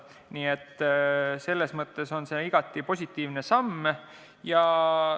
Nii et selles mõttes on see igati positiivne samm.